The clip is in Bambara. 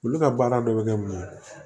Olu ka baara dɔ bɛ kɛ mun ye